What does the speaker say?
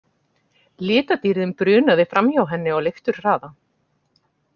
Litadýrðin brunaði framhjá henni á leifturhraða.